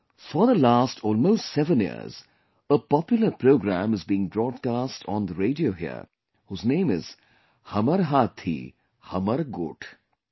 For the last almost 7 years, a popular program is being broadcast on the radio here, whose name is 'Hamar Hathi Hamar Goth'